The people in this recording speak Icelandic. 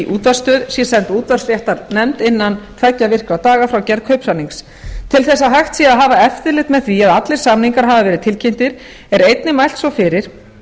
útvarpsstöð sé send útvarpsréttarnefnd innan tveggja virkra daga frá gerð kaupsamnings til þess að hægt sé að hafa eftirlit með því að allir samningar hafi verið tilkynntir er einnig mælt svo fyrir